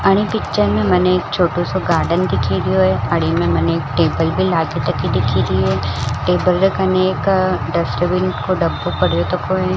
आणि पिक्चर में मने एक छोटुसो गार्डन दिख्ये दियो है अड़ी में मने एक टेबल भी लागे तकि दिखीराये टेबल के कने एक डस्टबिन को डब्बो पड़ो तको है।